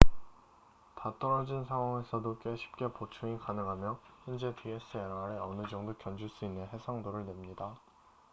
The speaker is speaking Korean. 다 떨어진 상황에서도 꽤 쉽게 보충이 가능하며 현재 dslr에 어느 정도 견줄 수 있는 해상도를 냅니다